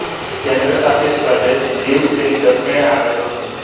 કેન્દ્ર શાસિત પ્રદેશ દીવ તેની દક્ષિણે આવેલો છે